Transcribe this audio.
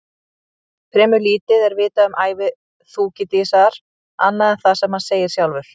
Fremur lítið er vitað um ævi Þúkýdídesar annað en það sem hann segir sjálfur.